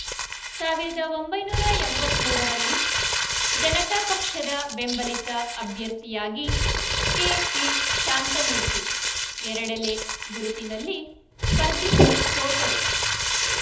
ಸಾವಿರದ ಒಂಬೈನೂರ ಎಂಬತ್ತ್ ಮೂರರಲ್ಲಿ ಜನತಾಪಕ್ಷದ ಬೆಂಬಲಿತ ಅಭ್ಯರ್ಥಿಯಾಗಿ ಕೆಪಿ ಶಾಂತಮೂರ್ತಿ ಎರಡೆಲೆ ಗುರುತಿನಲ್ಲಿ ಸ್ಪರ್ಧಿಸಿ ಸೋತರು